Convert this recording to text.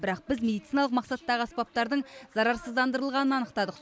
бірақ біз медициналық мақсаттағы аспаптардың зарарсыздандырылғанын анықтадық